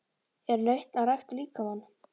Er nautn að rækta líkamann?